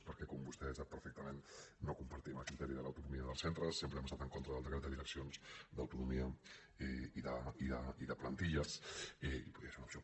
perquè com vostè sap perfectament no compartim el criteri de l’autonomia dels centres sempre hem estat en contra del decret de direccions d’autonomia i de plantilles i podria ser una opció